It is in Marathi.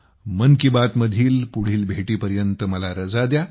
मन की बातमधील पुढच्या भेटीपर्यंत मला रजा द्या